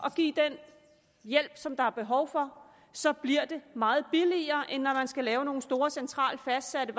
at give den hjælp som der er behov for så bliver det meget billigere end når man skal lave nogle store centralt fastsatte